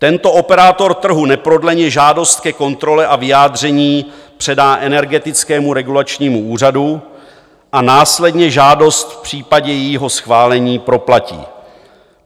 Tento operátor trhu neprodleně žádost ke kontrole a vyjádření předá Energetickému regulačnímu úřadu a následně žádost v případě jejího schválení proplatí.